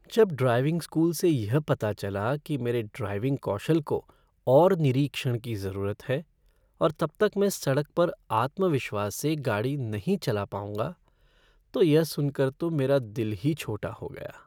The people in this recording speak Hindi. जब ड्राइविंग स्कूल से यह पता चला कि मेरे ड्राइविंग कौशल को और निरीक्षण की ज़रूरत है और तब तक मैं सड़क पर आत्मविश्वास से गाड़ी नहीं चला पाऊंगा, तो यह सुन कर तो मेरा तो दिल ही छोटा हो गया।